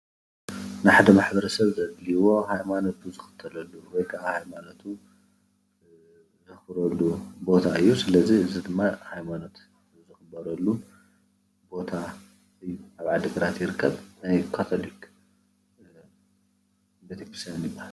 ንሓደ ማሕበረሰብ ዘድልይዎ ሃይማኖቱ ዝኽተልሉ ወይ ከዓ ሃይማኖቱ ዘኽብረሉ ቦታ እዩ ስለዚ እዚ ድማ ሃይማኖት ዘኽብረሉ ቦታ እዩ ኣብ ዓዲግራት ይርከብ ናይ ካቶላክ ቤተክርስትያን ይበሃል።